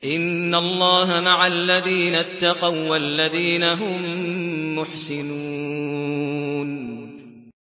إِنَّ اللَّهَ مَعَ الَّذِينَ اتَّقَوا وَّالَّذِينَ هُم مُّحْسِنُونَ